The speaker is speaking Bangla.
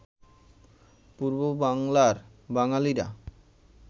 পূর্ব বাংলার বাঙালিরা